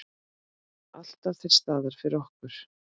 Alltaf til staðar fyrir okkur.